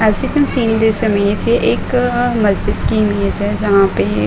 S you can see this एक मस्जिद की इमेज है जहाँ पे --